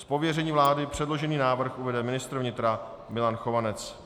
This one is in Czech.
Z pověření vlády předložený návrh uvede ministr vnitra Milan Chovanec.